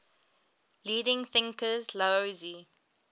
leading thinkers laozi